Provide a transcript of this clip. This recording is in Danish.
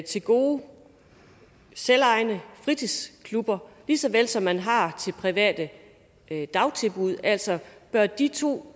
til gode selvejende fritidsklubber lige så vel som man har til private dagtilbud altså bør de to